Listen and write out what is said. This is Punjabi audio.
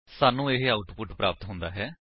ਸਾਨੂੰ ਇਹ ਆਉਟਪੁਟ ਪ੍ਰਾਪਤ ਹੁੰਦੀ ਹੈ